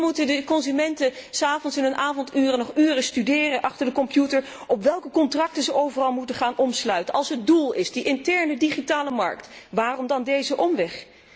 Nu moeten de consumenten in hun avonduren nog uren studeren achter de computer welke contracten ze overal moeten gaan sluiten. Als het doel de interne digitale markt is, waarom dan deze omweg?